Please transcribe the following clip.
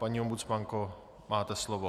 Paní ombudsmanko, máte slovo.